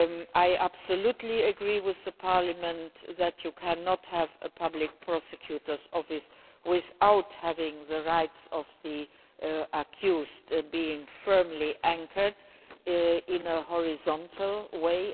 I absolutely agree with Parliament that you cannot have a Public Prosecutor's Office without having the rights of the accused being firmly anchored in a horizontal way.